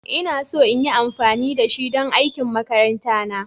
Ina so in yi amfani da shi don aikin makaranta na.